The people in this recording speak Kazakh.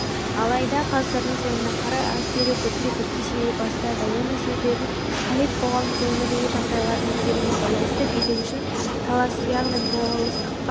алайда ғасырдың соңына қарай ас беру бірте-бірте сирей бастады оның себебін халид қоғамдық өмірдегі жағдайлардың өзгеруіне байланысты билік үшін талас яғни болыстыққа